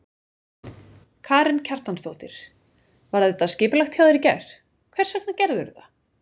Karen Kjartansdóttir: Var þetta skipulagt hjá þér í gær, hvers vegna gerðirðu þetta?